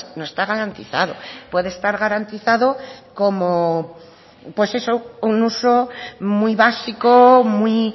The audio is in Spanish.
no está garantizado puede estar garantizado como algo pues eso un uso muy básico muy